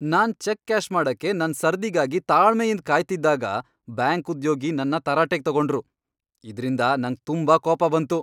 ನಾನ್ cheque cash ಮಾಡಕ್ಕೆ ನನ್ ಸರ್ದಿಗಾಗಿ ತಾಳ್ಮೆಯಿಂದ್ ಕಾಯ್ತಿದ್ದಾಗ ಬ್ಯಾಂಕ್ ಉದ್ಯೋಗಿ ನನ್ನ ತರಾಟೆಗೆ ತಗೊಂಡ್ರು ಇದ್ರಿಂದ ನಂಗ್ ತುಂಬಾ ಕೋಪ ಬಂತು.